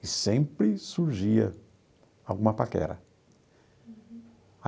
E sempre surgia alguma paquera.